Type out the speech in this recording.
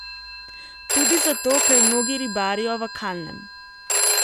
Tudi zato, ker mnogi ribarijo v kalnem.